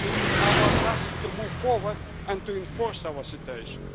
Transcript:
It is our task to move forward and to enforce our situation.